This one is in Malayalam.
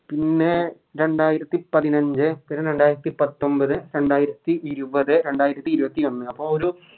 പിന്നെ രണ്ടായിരത്തി പതിനഞ്ച് പിന്നെ രണ്ടായിരത്തി പത്തൊമ്പത് രണ്ടായിരത്തി ഇരുപതേ രണ്ടായിരത്തി ഇരുപത്തി ഒന്ന് അപ്പൊ ഒരു